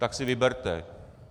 Tak si vyberte.